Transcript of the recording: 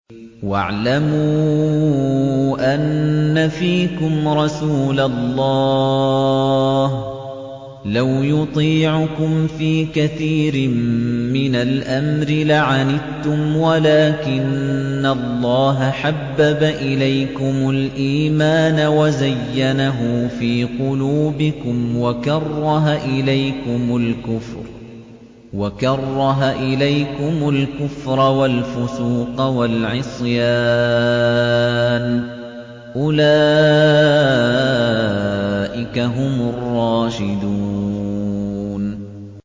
وَاعْلَمُوا أَنَّ فِيكُمْ رَسُولَ اللَّهِ ۚ لَوْ يُطِيعُكُمْ فِي كَثِيرٍ مِّنَ الْأَمْرِ لَعَنِتُّمْ وَلَٰكِنَّ اللَّهَ حَبَّبَ إِلَيْكُمُ الْإِيمَانَ وَزَيَّنَهُ فِي قُلُوبِكُمْ وَكَرَّهَ إِلَيْكُمُ الْكُفْرَ وَالْفُسُوقَ وَالْعِصْيَانَ ۚ أُولَٰئِكَ هُمُ الرَّاشِدُونَ